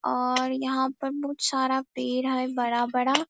और यहाँ पर बहुत सारा पेड़ है बड़ा-बड़ा ।